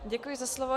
Děkuji za slovo.